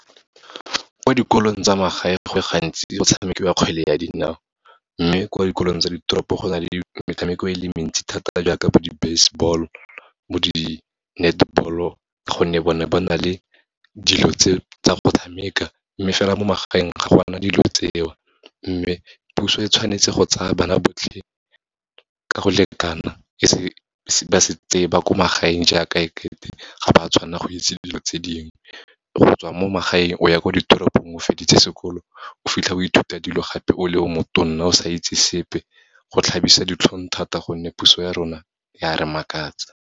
Ko dikolong tsa magae, go le gantsi go tshamekiwa kgwele ya dinao, mme kwa dikolong tsa ditoropo go na le metshameko e le mentsi thata, jaaka bo di-baseball bo di-netball-o ka gonne bone bo na le dilo tse, tsa go tshameka, mme fela mo magaeng ga gona dilo tseo. Mme puso e tshwanetse go tsaya bana botlhe ka go lekana, ba se tseye ba ko magaeng jaaka e ke te ga ba tshwanna go itse dilo tse dingwe. Go tswa mo magaeng o ya ko ditoropong o feditse sekolo, o fitlha o ithuta dilo gape o le o motonna, o sa itse sepe, go tlhabisa ditlhong thata gonne puso ya rona ya re makatsa.